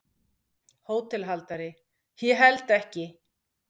HÓTELHALDARI: Ég held ekki.